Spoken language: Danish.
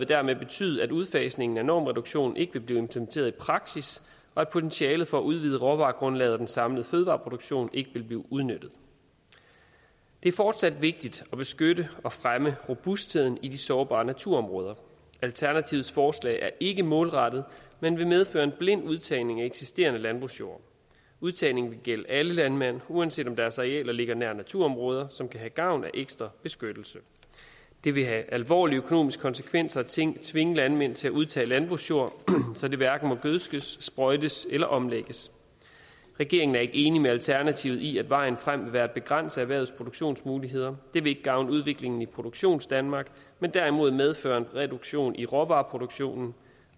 dermed betyde at udfasningen af normreduktionen ikke vil blive implementeret i praksis og at potentialet for at udvide råvaregrundlaget og den samlede fødevareproduktion ikke vil blive udnyttet det er fortsat vigtigt at beskytte og fremme robustheden i de sårbare naturområder alternativets forslag er ikke målrettet men vil medføre en blind udtagning af eksisterende landbrugsjord udtagningen vil gælde alle landmænd uanset om deres arealer ligger nær naturområder som kan have gavn af ekstra beskyttelse det vil have alvorlige økonomiske konsekvenser at tvinge tvinge landmænd til at udtage landbrugsjord så det hverken må gødskes sprøjtes eller omlægges regeringen er ikke enig med alternativet i at vejen frem vil være at begrænse erhvervets produktionsmuligheder det vil ikke gavne udviklingen i produktionsdanmark men derimod medføre en reduktion af råvareproduktionen